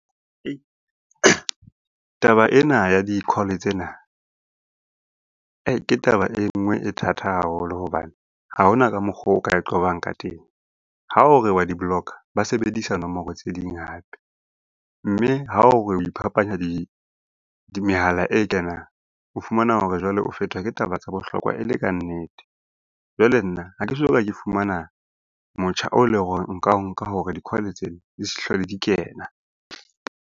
Taba ena ya di-call tsena ke taba e nngwe e thata haholo hobane ha hona ka mokgo o ka e qobang ka teng. Ha o re wa di-block-a, ba sebedisa nomoro tse ding hape. Mme ha o re o iphapanya mehala e kenang, o fumana hore jwale o fetwa ke taba tsa bohlokwa e le kannete. Jwale nna ha ke soka ke fumana motjha o leng hore nka o nka hore di-call-e tsena di se hlole di kena.